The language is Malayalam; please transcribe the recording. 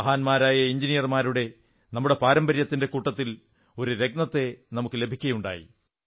മഹാന്മാരായ എഞ്ചിനീയർമാരുടെ നമ്മുടെ പാരമ്പര്യത്തിന്റെ കൂട്ടത്തിൽ ഒരു രത്നത്തെ നമുക്കു ലഭിക്കയുണ്ടായി